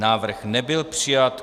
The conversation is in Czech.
Návrh nebyl přijat.